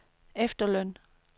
efterløn